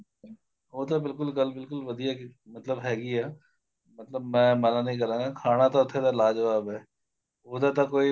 ਉਹ ਤਾਂ ਬਿਲਕੁਲ ਗੱਲ ਬਿਲਕੁਲ ਵਧੀਆ ਕੀਤੀ ਮਤਲਬ ਹੈਗੀ ਏ ਮਤਲਬ ਮੈਂ ਮਨਾ ਨੀਂ ਕਰਾਂਗਾ ਖਾਣਾ ਤਾਂ ਉੱਥੇ ਦਾ ਲਾ ਜਵਾਬ ਏ ਉਹਦਾ ਤਾਂ ਕੋਈ